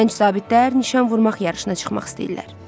Gənc zabitlər nişan vurmaq yarışına çıxmaq istəyirlər.